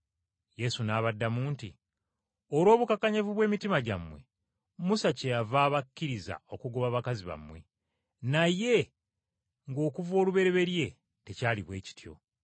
Yesu n’abaddamu nti, “Olw’obukakanyavu bw’emitima gyammwe, Musa kyeyava abakkiriza okugoba bakazi bammwe, naye nga okuva olubereberye tekyali bwe kityo.